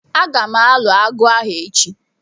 Agam alu agu ahu echi